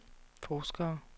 forskere